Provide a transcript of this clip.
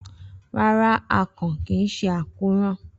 Rara, akàn kii ṣe ákóràn.